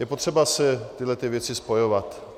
Je potřeba si tyhlety věci spojovat.